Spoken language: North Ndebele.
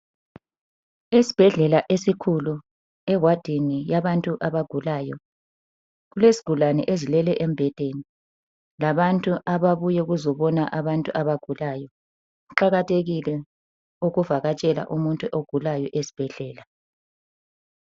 Esbhedlela esikhulu ewadini yabantu abagulayo kulesigulani ezilele embhedeni labantu ababuye kuzobona abantu abagulayo. Kuqakathekile ukuvakatshela umuntu ogulayo esbhedlela.